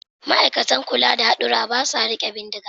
Ma'aikatan kula da hadurra ba sa riƙe bindiga